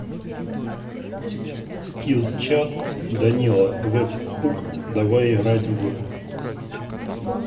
скилл чат данила вебхук давай играть в